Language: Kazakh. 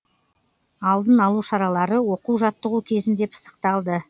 алдын алу шаралары оқу жаттығу кезінде пысықталды